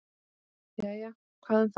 Jæja, hvað um það.